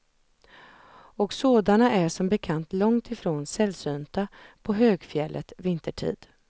Och sådana är som bekant långt ifrån sällsynta på högfjället vintertid.